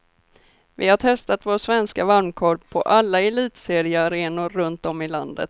Vi har testat vår svenska varmkorv på alla elitseriearenor runt om i landet.